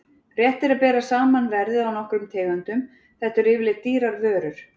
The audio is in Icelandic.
Rétt er að bera saman verðið á nokkrum tegundum, þetta eru yfirleitt dýrar vörur.